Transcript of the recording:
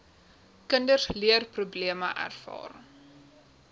kinders leerprobleme ervaar